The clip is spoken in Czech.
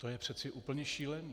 To je přece úplně šílené.